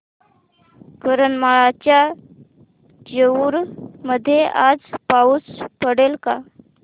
करमाळ्याच्या जेऊर मध्ये आज पाऊस पडेल का